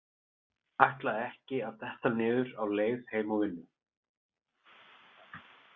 Ætlaði ekki að detta niður á leið heim úr vinnu.